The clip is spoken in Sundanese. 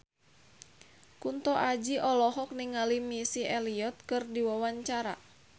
Kunto Aji olohok ningali Missy Elliott keur diwawancara